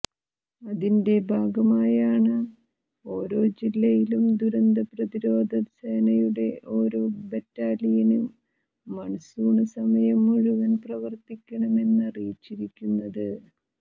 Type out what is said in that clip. അതിന്റെ ഭാഗമായാണ് ഓരോ ജില്ലയിലും ദുരന്ത പ്രതിരോധ സേനയുടെ ഓരോ ബെറ്റാലിയന് മണ്സൂണ് സമയം മുഴുവന് പ്രവര്ത്തിക്കണമെന്നറിയിച്ചിരിക്കുന്നത്